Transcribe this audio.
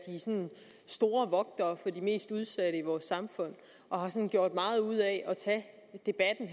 store vogtere for de mest udsatte i vores samfund og har gjort meget ud af